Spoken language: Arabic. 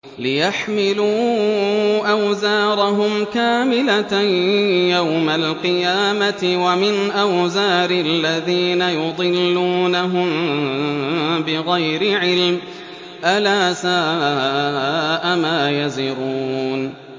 لِيَحْمِلُوا أَوْزَارَهُمْ كَامِلَةً يَوْمَ الْقِيَامَةِ ۙ وَمِنْ أَوْزَارِ الَّذِينَ يُضِلُّونَهُم بِغَيْرِ عِلْمٍ ۗ أَلَا سَاءَ مَا يَزِرُونَ